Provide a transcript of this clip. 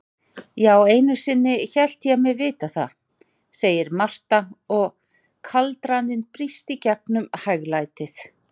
Já, einusinni hélt ég mig vita það, segir Marta og kaldraninn brýst gegnum hæglætið.